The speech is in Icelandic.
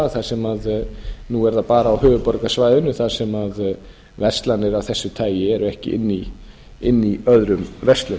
þar sem nú er það bara á höfuðborgarsvæðinu þar sem verslanir af þessu tagi eru ekki inni í öðrum verslunum